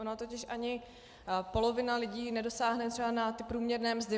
Ona totiž ani polovina lidí nedosáhne třeba na ty průměrné mzdy.